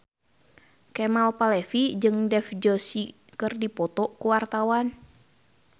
Kemal Palevi jeung Dev Joshi keur dipoto ku wartawan